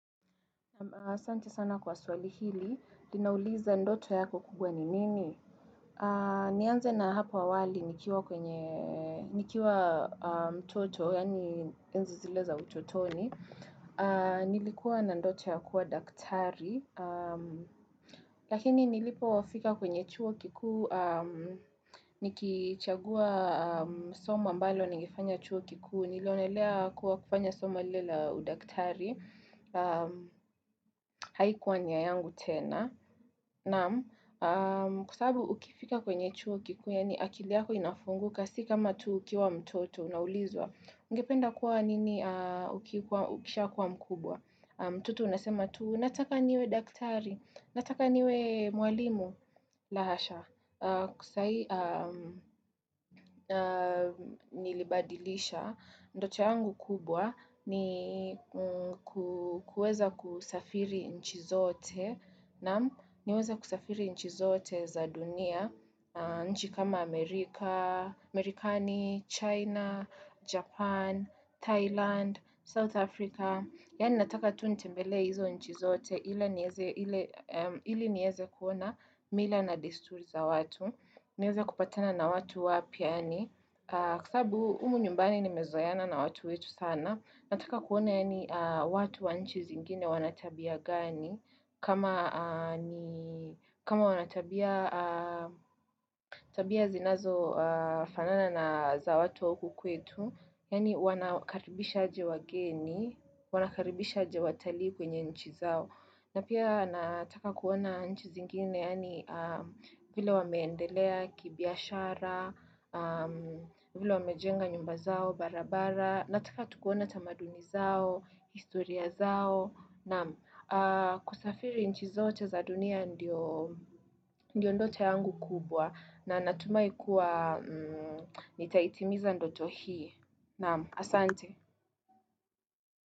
Sante sana kwa swali hili, linauliza ndoto yako kubwa ni nini? Nianze na hapa awali nikiwa kwenye, nikiwa mtoto, yani nzizileza utotoni. Nilikuwa na ndoto ya kuwa daktari, lakini nilipowafika kwenye chuo kiku, nikichagua soma mbalo nangifanya chuo kiku, nilonelea kuwa kufanya soma lila udaktari. Haikuwa nia yangu tena Nam, kusabu ukifika kwenye chuo kikuya ni akiliyako inafunguka Sika matu ukiwa mtoto, unaulizwa Ungependa kuwa nini ukisha kuwa mkubwa mtoto unasema tu, nataka niwe daktari, nataka niwe mwalimu la hasha, kusai nilibadilisha Ndote yangu kubwa ni kueza kusafiri nchi zote na niweza kusafiri nchi zote za dunia nchi kama Amerika, Amerikani, China, Japan, Thailand, South Africa Yani nataka tu nitembele hizo nchi zote ili nieze kuona mila na disturi za watu niweza kupatana na watu wapi yani kusabu umu nyumbani ni mezoiana na watu wetu sana Nataka kuona yani watu wa nchi zingine wanatabia gani kama wanatabia zinazo fanana na za watu wa huku kwetu Yani wanakaribisha aje wageni, wanakaribisha aje watali kwenye nchi zao na pia nataka kuona nchi zingine yani vile wameendelea kibiashara, vile wamejenga nyumba zao barabara, nataka tukuona tamaduni zao, historia zao, na kusafiri nchi zote za dunia ndio ndio ndote yangu kubwa na natumai kuwa nitaitimiza ndoto hii, na asante.